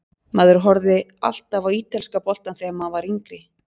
Maður horfði alltaf á ítalska boltann þegar maður var yngri.